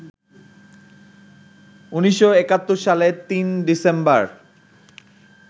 ১৯৭১ সালে ৩ ডিসেম্বর